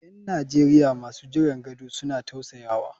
’Yan Najeriya masu jiran gado suna tausasawa.